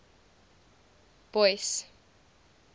boyce